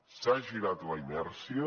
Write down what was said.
s’ha girat la inèrcia